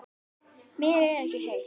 Mér er ekki heitt.